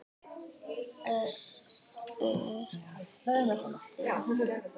Össur fýldur.